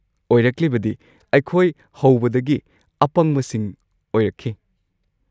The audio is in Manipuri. ꯑꯣꯏꯔꯛꯂꯤꯕꯗꯤ, ꯑꯩꯈꯣꯏ ꯍꯧꯕꯗꯒꯤ ꯑꯄꯪꯕꯁꯤꯡ ꯑꯣꯏꯔꯛꯈꯤ,